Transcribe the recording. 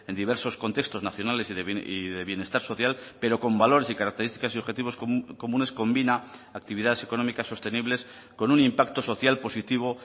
diversos contextos nacionales y de bienestar social pero con valores y características y objetivos comunes combina actividades económicas sostenibles con un impacto social positivo